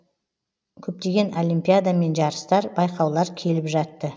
көптеген олимпиада мен жарыстар байқаулар келіп жатты